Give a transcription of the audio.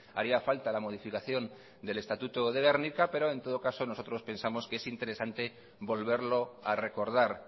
haría falta la modificación del estatuto de gernika pero en todo caso nosotros pensamos que es interesante volverlo a recordar